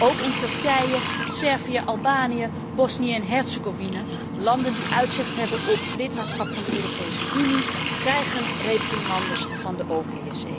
Ook Turkije, Servië, Albanië, Bosnië en Herzegovina, landen die uitzicht hebben op lidmaatschap van de Europese Unie, krijgen reprimandes van de OVSE.